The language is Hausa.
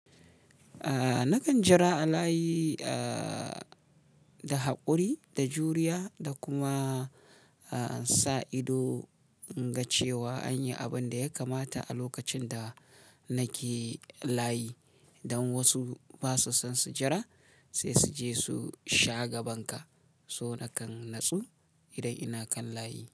A nakan jira a layi a da haƙuri, da juriya da kuma a sa ido in ga cewa an yi abin da ya kamata a lokacin da nake layi. Dan wasu ba su son su jira sai su je su sha gaban ka. So nakan natsu idan ina kan layi.